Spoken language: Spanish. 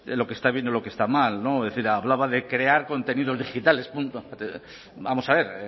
lo que está bien y lo que está mal es decir hablaba de crear contenidos digitales etcétera vamos a ver